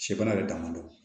Sɛbana yɛrɛ damadɔ